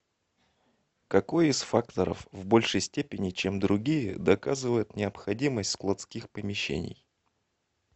какой из факторов в большей степени чем другие доказывает необходимость складских помещений